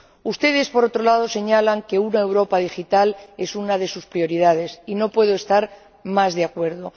Ustedes, por otro lado, señalan que una Europa digital es una de sus prioridades, y no puedo estar más de acuerdo.